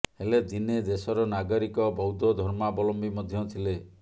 ହେଲେ ଦିନେ ଦେଶର ନାଗରିକ ବୌଦ୍ଧ ଧର୍ମାବଲମ୍ବି ମଧ୍ୟ ଥିଲେ